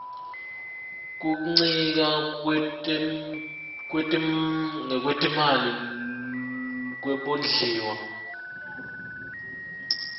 kuncika ngekwetimali kwebondliwa